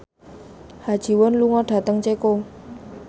Ha Ji Won lunga dhateng Ceko